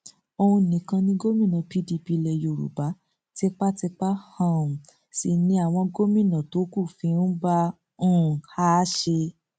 òun nìkan ni gómìnà pdp ilẹ yorùbá tipátipá um sí ni àwọn gómìnà tó kù fi ń bá um a ṣe